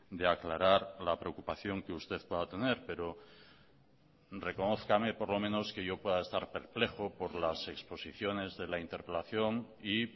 de aclarar la preocupación que usted pueda tener pero reconózcame por lo menos que yo pueda estar perplejo por las exposiciones de la interpelación y